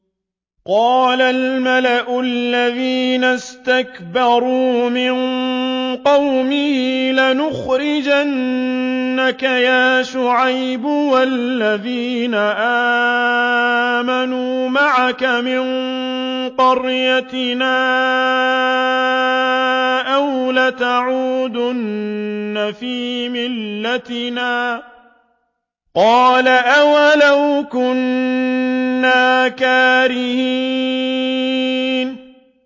۞ قَالَ الْمَلَأُ الَّذِينَ اسْتَكْبَرُوا مِن قَوْمِهِ لَنُخْرِجَنَّكَ يَا شُعَيْبُ وَالَّذِينَ آمَنُوا مَعَكَ مِن قَرْيَتِنَا أَوْ لَتَعُودُنَّ فِي مِلَّتِنَا ۚ قَالَ أَوَلَوْ كُنَّا كَارِهِينَ